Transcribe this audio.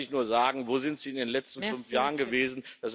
Da kann ich nur sagen Wo sind Sie in den letzten fünf Jahren gewesen?